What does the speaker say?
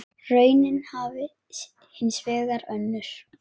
Raunin hafi hins vegar önnur.